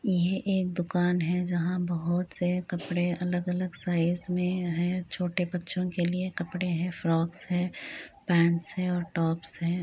ये एक दूकान है। जहां बहुत से कपड़े अलग अलग साईज में है। छोटे बच्चो के लिए कपड़े है फ्रॉकस है पेंट्स है और टॉप्स है।